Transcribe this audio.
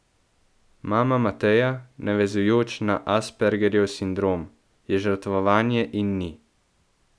Mama Mateja, navezujoč na aspergerjev sindrom: 'Je žrtvovanje in ni.